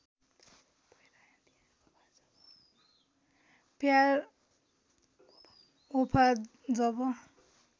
प्यार वफा जब